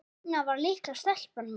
Þarna var litla stelpan mín.